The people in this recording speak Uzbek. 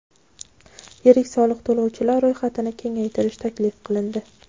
Yirik soliq to‘lovchilar ro‘yxatini kengaytirish taklif qilindi.